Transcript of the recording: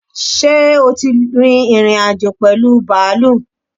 ṣẹ́ o tí ìrìn-àjò pẹ̀lú bàálù?